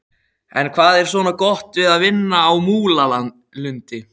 En hvað er svona gott við að vinna á Múlalundi?